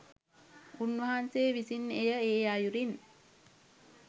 උන්වහන්සේ විසින් එය ඒ අයුරින්